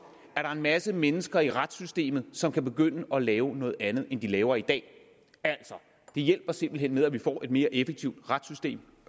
er en masse mennesker i retssystemet som kan begynde at lave noget andet end de laver i dag altså det hjælper simpelt hen med til at vi får et mere effektivt retssystem